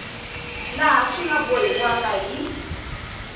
laha swi nga bohiwaka hi